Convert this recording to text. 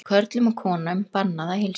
Körlum og konum bannað að heilsast